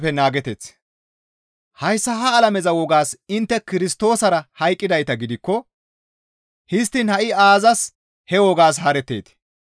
Hayssa ha alameza wogaas intte Kirstoosara hayqqidayta gidikko histtiin ha7i aazas he wogaas haaretteetii?